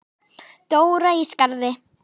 Dóra í Skarði.